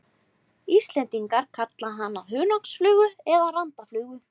Íslendingar kalla hana hunangsflugu eða randaflugu.